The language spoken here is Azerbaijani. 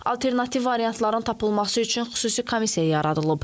Alternativ variantların tapılması üçün xüsusi komissiya yaradılıb.